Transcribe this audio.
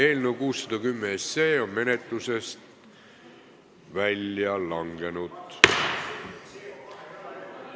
Eelnõu 610 on menetlusest välja langenud.